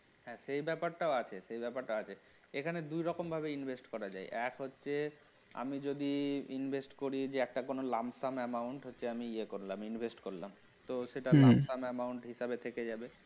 হ্যাঁ সেই ব্যাপারটাও আছে সেই ব্যাপারটা আছে এখানে দুই রকম ভাবে invest করা যায় এক হচ্ছে আমি যদি invest করি যে একটা কোন lump sum amount হচ্ছে আমি ইয়ে করলাম invest করলাম তো সেটা হম lump sum amount হিসেবে থেকে যাবে